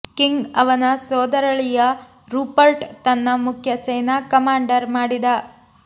king ಅವನ ಸೋದರಳಿಯ Rupert ತನ್ನ ಮುಖ್ಯ ಸೇನಾ ಕಮಾಂಡರ್ ಮಾಡಿದ